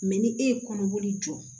ni e ye kɔnɔboli jɔ